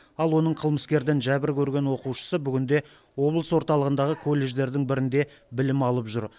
ал оның қылмыскерден жәбір көрген оқушысы бүгінде облыс орталығындағы колледждердің бірінде білім алып жүр